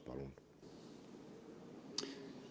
Palun!